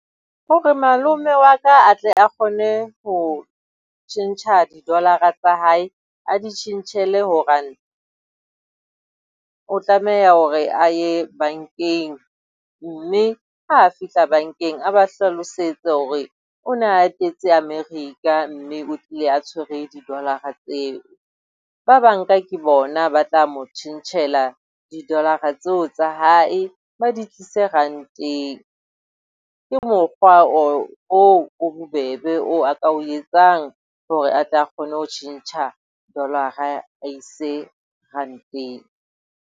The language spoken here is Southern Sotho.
Hore malome wa ka a tle a kgone ho tjhentjha di-dollar-ra tsa hae. A di tjhentjhele ho ranta, o tlameha hore a ye bankeng mme ha a fihla bankeng a ba hlalosetse hore o ne a etetse America, mme o tlile a tshwere di-dollar-ra tseo. Ba banka ke bona ba tla mo tjhentjhela di-dollar-ra tseo tsa ya hae, ba di tlise ranteng. Ke mokgwa oo o bobebe oo a ka o etsang hore a tle kgone ho tjhentjha dollar-ra a e ise ranteng.